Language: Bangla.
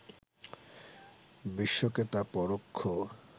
বিশ্বকে তা পরোক্ষ